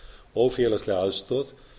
og félagslega aðstoð